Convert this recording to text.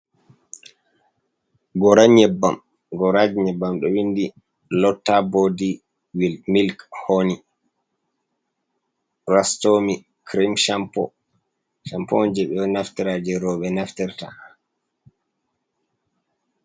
Goora ɲyebbam, gooraji ɲyebbam ɗo winndi lotta boodi milk hooni, rastomi, kirim campo. Campo on ɓe ɗo naftira, jee rooɓe naftirta